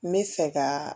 N bɛ fɛ ka